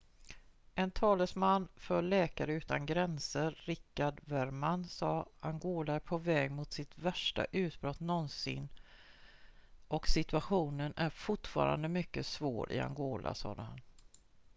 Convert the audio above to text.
"""en talesman för läkare utan gränser richard veerman sa: "angola är på väg mot sitt värsta utbrott någonsin och situationen är fortfarande mycket svår i angola "sade han.""